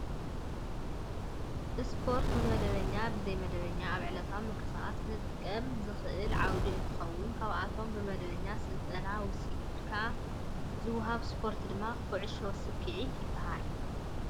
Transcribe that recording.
ስፖርት ብመደበኛን ብዘይመደበኛን ኣብ ዕለታዊ ምቅስቃስና ክጠቅመና ዝክእል ዓውዲ እንትከውን ካብቶም ብመደበኛ ስልጠና ወሲድካ ዝውሃቡ ስፖርትታት ድማ ኩዕሾ ሰኪዔት ይበሃል።